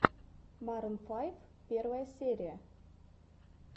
марун файв первая серия